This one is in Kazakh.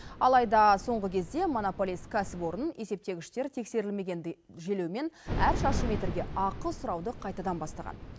алайда соңғы кезде монополист кәсіпорын есептегіштер тексерілмегендей желеумен әр шаршы метрге ақы сұрауды қайтадан бастаған